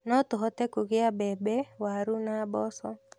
No tũhote kũgĩa mbembe, waru na mboco.